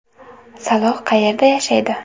Saloh qayerda yashaydi?